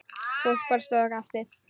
Fólk bara stóð og gapti.